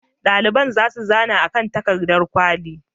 Ɗaliban za su zana a kan takardar kwali.